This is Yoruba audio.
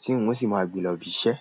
tí n ò sì máa gbe lọbi iṣẹ́.